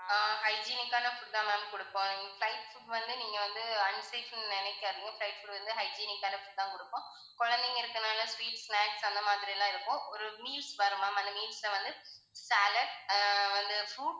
ஆஹ் hygienic ஆன food தான் ma'am கொடுப்போம் flight food வந்து நீங்க வந்து unsick னு நினைக்காதீங்க flight food வந்து hygienic ஆன food தான் கொடுப்போம். குழந்தைங்க இருக்கதுனால sweets, snacks அந்த மாதிரியெல்லாம் இருக்கும். ஒரு meals வரும் ma'am அந்த meals ல வந்து salad ஆஹ் வந்து fruits